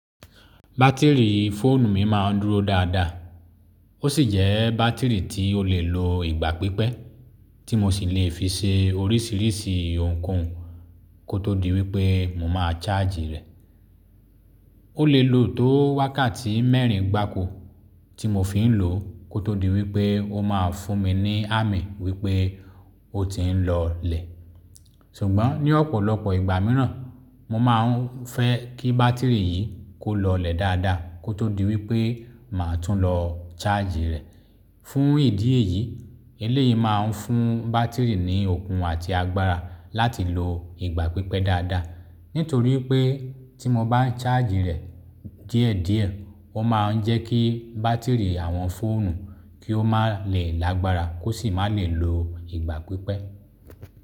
Batiri foonu mi máa ń dúró dáadáa. O sì jẹ́ bátìrì tí o lè lo ìgbà pípẹ́, tí mo sì lè fi ṣe oríṣìíríṣìí ohun koun, kó tó di wí pé mo máa charge rẹ̀. O lè lò ó tó wákàtí mẹ́rìn gbáko tí mo fi ń lò ó, kó tó di wí pé o máa fún mi ní ámì wí pé ó ti ń lọlẹ̀. Sùgbọ́n ní ọ̀pọ̀lọpọ̀ ìgbà mìíràn, mo máa ń fẹ́ kí bátìrì yìí kó lọlẹ̀ dáadáa kó tó di wí pé màá tún lọ charge rẹ̀. Fún ìdí èyí, eléyìí máa ń fún bátìrì ní okùn àti agbára láti lo ìgbà pípẹ́ dáadáa. Nítorí pé tí mo bá ń charge rẹ̀ díẹ̀díẹ̀, ó máa ń jẹ́ kí bátìrì àwọn fóònù kí ó má lè lágbára kó sì má lè lo ìgbà pípẹ́.